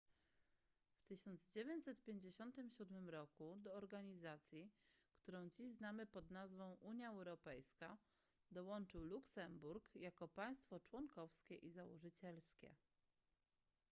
w 1957 roku do organizacji którą dziś znamy pod nazwą unia europejska dołączył luksemburg jako państwo członkowskie i założycielskie